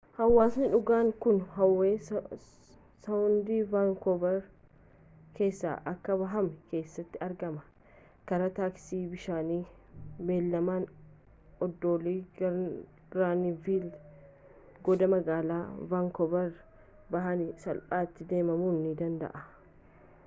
hawaasni dhugaan kun howe saawund vaankover keessaa akka bahame keessatti argama karaa taaksii bishaanii beellamaan oddoloa granviil goda magaalaa vaankooverii bahaniin salphaatti deemamuu ni danda'a